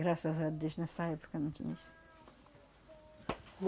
Graças a Deus, nessa época não tinha isso.